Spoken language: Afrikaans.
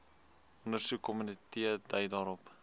ondersoekkomitee dui daarop